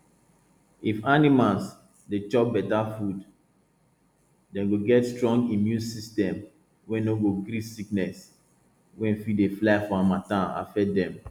if animals dey chop beta food dem go get strong immune system wey no go gree sickness wey dey fly for harmattan affect dem